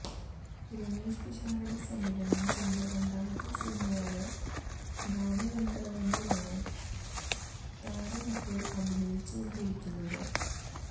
രമേഷ് പിഷാരടി സംവിധാനം ചെയ്യുന്ന രണ്ടാമത്തെ സിനിമയായ ഗാനഗന്ധര്വ്വനിലാണ് താരമിപ്പോള് അഭിനയിച്ചുകൊണ്ടിരിക്കുന്നത്്